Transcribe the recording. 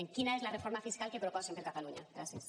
quina és la reforma fiscal que proposen per a catalunya gràcies